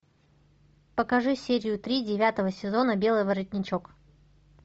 покажи серию три девятого сезона белый воротничок